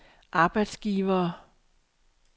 arbejdsgivere